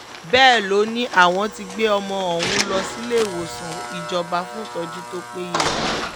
bẹ́ẹ̀ ló ní àwọn ti gbé ọmọ ọ̀hún lọ síléemọ̀sán ìjọba fún ìtọ́jú tó péye